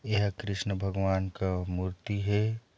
यह कृष्ण भगवान का मूर्ति हे।